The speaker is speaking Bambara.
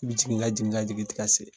I be jigin ka jigin ka jigin, i te ka se.